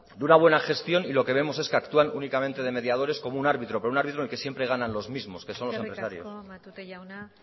de una buena gestión y lo que vemos es que actúan únicamente de mediadores como un árbitro pero un árbitro en el que siempre ganan los mismos que son los empresarios eskerrik asko matute jauna